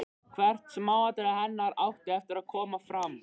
Hvert smáatriði hennar átti eftir að koma fram.